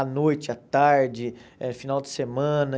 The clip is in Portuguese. À noite, à tarde, é final de semana.